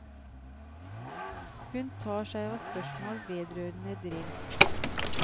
Hun tar seg av spørsmål vedrørende drill.